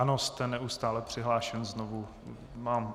Ano, jste neustále přihlášen znovu.